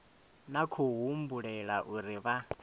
na khou humbulela uri vha